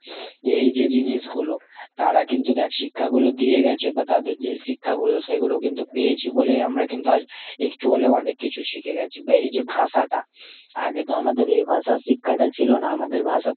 এই যে জিনিসগুলো তারা কিন্তু দ্যাখ শিক্ষাগুলো দিয়ে গেছে বা তাদের যে শিক্ষাগুলো, সেগুলো কিন্তু পেয়েছি বলে আমরা কিন্তু আজ একটু হলেও অনেক কিছু শিখেগেছি। বা এই যে ভাষাটা আগে তো আমাদের এ ভাষার শিক্ষাটা ছিলোনা। আমাদের ভাষা,